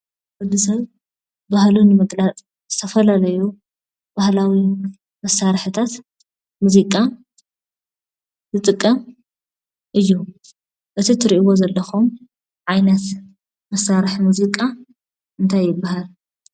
ወድ ሰብ ባህሉ ንምግላፅ ዝተፈላለዩ ባህላዊ መሳርሕታት ሙዚቃ ዝጥቀም እዩ። እዚ ትሪእዎ ዘለኩም ዓይነት መሳርሒ ሙዚቃ እንታይ ይበሃል ?